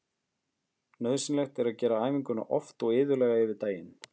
Nauðsynlegt er að gera æfinguna oft og iðulega yfir daginn.